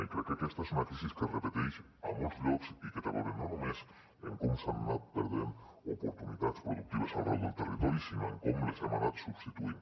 i crec que aquesta és una crisi que es repeteix a molts llocs i que té a veure no només amb com s’han anat perdent oportunitats productives arreu del territori sinó amb com les hem anat substituint